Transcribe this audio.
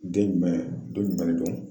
Den jumɛn don jumɛn don?